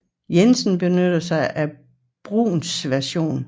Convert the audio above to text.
Jensen benytter sig af Bruhns version